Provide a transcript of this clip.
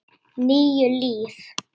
Níu líf